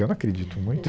Eu não acredito muito.